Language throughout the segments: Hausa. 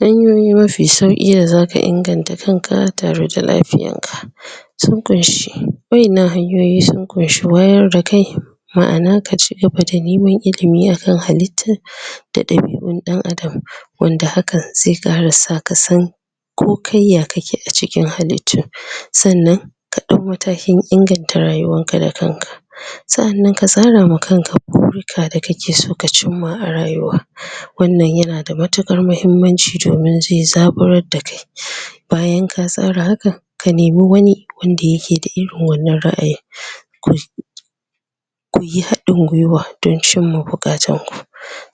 Hanyoyi mafi sauƙi da zaka inganta kan ka tare da lafiyar ka:? waʼinnan hanyoyi sun ƙunshi wayar da kai. Maʼana; ka cigaba da neman ilimi akan halitta, da ɗabiʼun ɗan adam. Wanda hakan zai ƙara sa ka san ko kai ya kake a cikin hallitu, sannan sannan ka ɗau matakin inganta rayuwan ka da kanka, saʼannan ka tsara ma kanka burika da kake so ka cimma a rayuwa. Wannan yana da matuƙar muhimmanci, domin zai zaburar da kai. Bayan ka tsara hakan, ka nemi wani wanda yake da irin wannan raʼayin? kuyi haɗin gwuiwa don cimma buƙatun ku.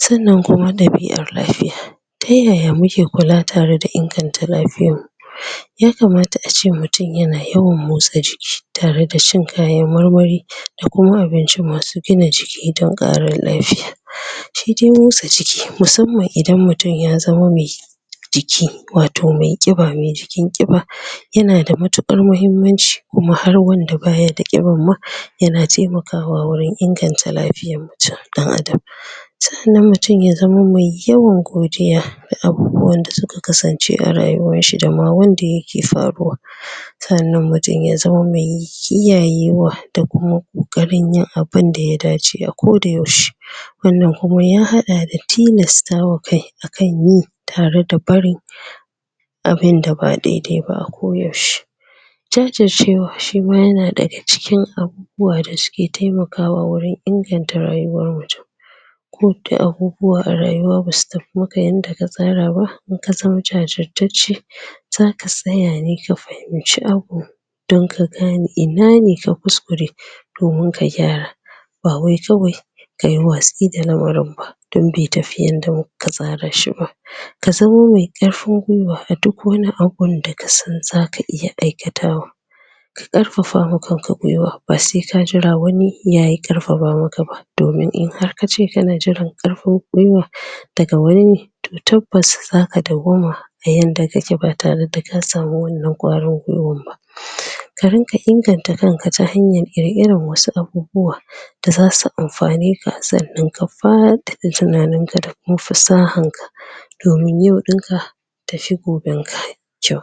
Sannan kuma ɗabiʼar lafiya: ta yaya muke kula tare da inganta lafiyar mu; ya kamata ace mutum yana yawan motsa jiki, tare da shan kayan marmari, da kuma abinci masu gina jiki don ƙara lafiya. Shi dai motsa jiki; musamman idan mutum ya zama mai jiki, wato mai? jikin ƙiba, yana da matuƙar muhimmanci. Kuma har wanda baya da ƙibar ma, yana taimakawa wurin inganta lafiyar? ɗan adam. Saʼanan mutum ya zama mai yawan godiya da abubuwan da suka kasance a rayuwar shi, da ma wanda yake faruwa. Saʼannan mutum ya zama mai kiyayewa, da kuma ƙoƙarin yin abinda ya dace a koda yaushe. Wannan kuma ya haɗa da tilastawa kai a kan yi, tare da barin abinda ba daidai ba a ko yaushe. Jajircewa: shi ma yana daga cikin abubuwa da suke taimakawa wurin inganta rayuwar mutum, ko da abubuwa a rayuwa basu tafi maka yadda ka tsara ba, idan ka zama jajirtacce, zaka tsaya ne ka fahimci abu, don ka gane ina ne ka kuskure, domin ka gyara. Ba wai kawai kayi watsi da lamarin ba, don bai tafi yadda ka tsarashi ba. Ka zama mai ƙarfin gwuiwa a duk wani abun da ka san zaka iya aikatawa, ka ƙarfafawa kanka gwuiwa ba sai ka jira wani yayi ƙarfafa maka ba. Domin in har kace kana jiran ƙarfin gwuiwan daga wani ne, to tabbas zaka dawwama a yanda kake, ba tare da ka samu wannan ƙwarin gwuiwar ba. Ka ringa inganta kan ka, ta hanyar ƙirƙira wasu abubuwa da zasu amfane ka. Sannan ka faɗaɗa tunanin ka, da kuma fasahar ka, domin yau ɗin ka tafi goben ka kyau.